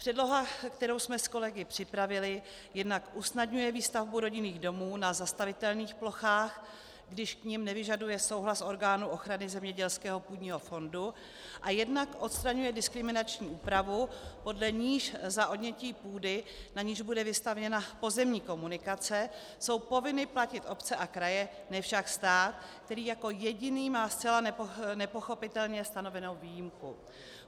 Předloha, kterou jsme s kolegy připravili, jednak usnadňuje výstavbu rodinných domů na zastavitelných plochách, když k nim nevyžaduje souhlas orgánu ochrany zemědělského půdního fondu, a jednak odstraňuje diskriminační úpravu, podle níž za odnětí půdy, na níž bude vystavěna pozemní komunikace, jsou povinny platit obce a kraje, ne však stát, který jako jediný má zcela nepochopitelně stanovenou výjimku.